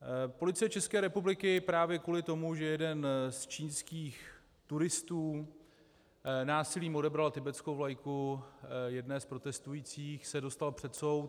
Policie České republiky právě kvůli tomu, že jeden z čínských turistů násilím odebral tibetskou vlajku jedné z protestujících, se dostal před soud.